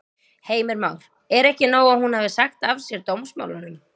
Heimir Már: Er ekki nóg að hún hafi sagt af sér dómsmálunum?